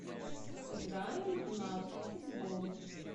сыграем в навык футбол